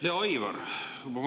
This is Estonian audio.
Hea Aivar!